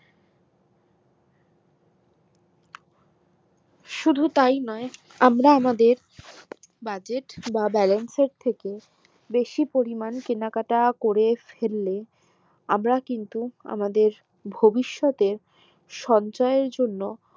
শুধু তাই নয় আমরা আমাদের budget বা balance এর থেকে বেশি পরিমান কেনাকাটা করে ফেললে আমরা কিন্তু আমাদের ভবিষৎ এ সঞ্চয় আর এর জন্য